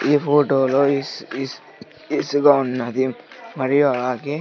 ఈ ఫోటో లో ఇష్ ఇష్ ఇసుక ఉన్నది మరియు అలాగే --